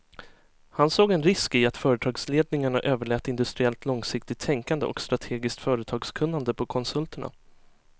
Han såg en risk i att företagsledningarna överlät industriellt långsiktigt tänkande och strategiskt företagskunnande på konsulterna.